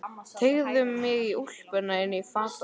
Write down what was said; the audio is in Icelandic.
Teygði mig í úlpuna inn í fataskáp.